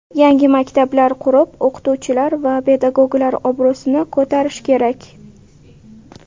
Yangi maktablar qurib, o‘qituvchilar va pedagoglar obro‘sini ko‘tarish kerak.